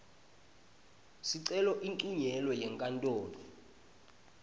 sicelo uncunyelwe yinkantolo